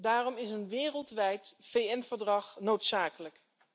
Daarom is een wereldwijd VN verdrag noodzakelijk.